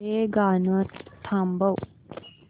हे गाणं थांबव